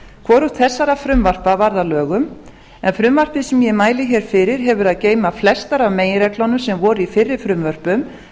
hvorugt þessara frumvarpa varð lögum en frumvarpið sem ég mæli fyrir hefur að geyma flestar af meginreglunum sem voru í fyrri frumvörpum